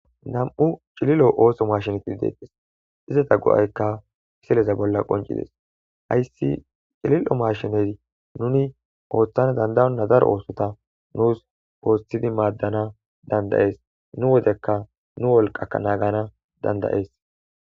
nam'u cililo ooso mashineti de'tes izeta go'aykka miseleza bolla qoncides hayssi cilil'o mashine nuni ooththana dandayona daro oosota nuus oosthidi maaddana dandayees, nu wodekka nu wolqaa naagana dandayes